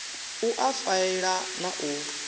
u a faela na u